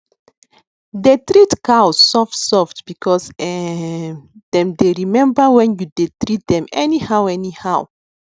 dey treat cows soft soft because um dem dey remember when you u dey treat dem any how any how